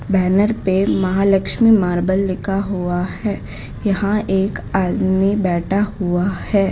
Banner पे Mahalakshmi marble लिखा हुआ है यहां एक आदमी बैठा हुआ है।